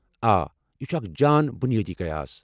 آ، یہِ چھُ اکھ جان بُنِیٲدی قیاس ۔